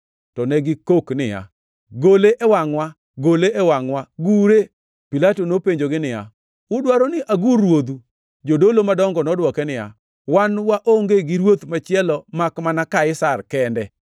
To ne gikok niya, “Gole e wangʼwa! Gole e wangʼwa! Gure!” Pilato nopenjogi niya, “Udwaro ni agur ruodhu?” Jodolo madongo nodwoke niya, “Wan waonge gi ruoth machielo makmana Kaisar kende.”